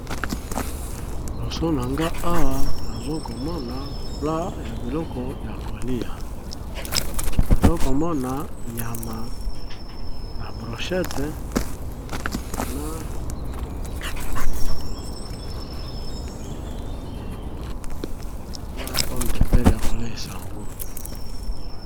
Liboso na nga awa nazo komona plat ya biloko ya kolia, nazo komona nyama na brochette, na pomme de terre ya kolia n'ango .